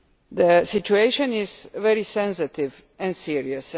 The situation is very sensitive and serious.